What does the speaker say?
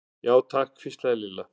Já, takk hvíslaði Lilla.